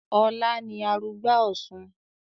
Ọlá ni arugbá òsun